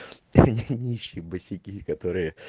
ха-ха нищие босяки которые